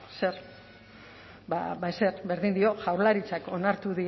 zer ezer berdin dio jaurlaritzak